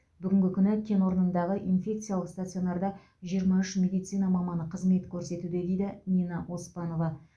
бүгінгі күні кен орнындағы инфекциялық стационарда жиырма үш медицина маманы қызмет көрсетуде дейді нина оспанова